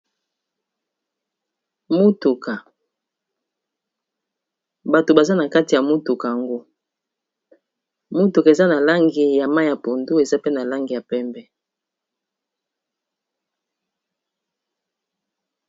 motuka bato baza na kati ya motuka yango motuka eza na langi ya ma ya pondo eza pe na langi ya pembe